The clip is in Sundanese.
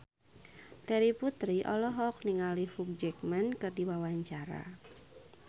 Terry Putri olohok ningali Hugh Jackman keur diwawancara